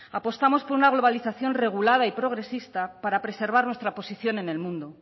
apostamos por una globalización regulada y progresista para preservar nuestra posición en el mundo